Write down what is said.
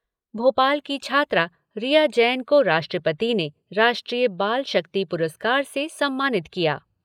भोपाल की छात्रा रिया जैन को राष्ट्रपति ने राष्ट्रीय बाल शक्ति पुरस्कार से सम्मानित किया।